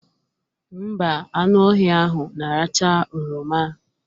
Ḿbà, anụ ọhịa ahụ na-aracha oroma